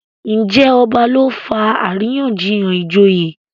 Njé ọba ló fà àríyànjiyàn ìjòyè?